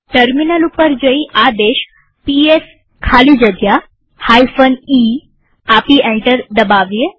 terminal ઉપર જઈ આદેશ પીએસ ખાલી જગ્યા e આપી એન્ટર દબાવીએ